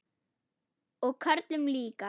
Og körlum líka.